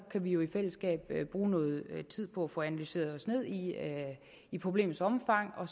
vi jo i fællesskab bruge noget tid på at få analyseret os ned i problemets omfang og